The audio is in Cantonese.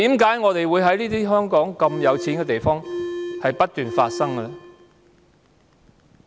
在香港如此富裕的地方，為何不斷發生這種事？